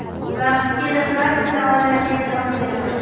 Vaqti kelib, barcha savollarga javob berarman.